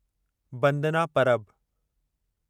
बंदना परब